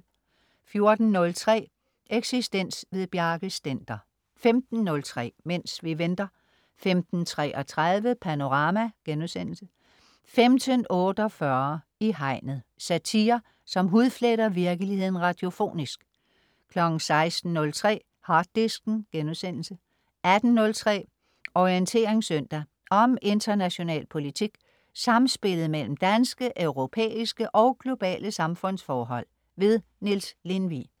14.03 Eksistens. Bjarke Stender 15.03 Mens vi venter 15.33 Panorama* 15.48 I Hegnet. Satire, som hudfletter virkeligheden radiofonisk 16.03 Harddisken* 18.03 Orientering søndag. Om international politik, samspillet mellem danske, europæiske og globale samfundsforhold. Niels Lindvig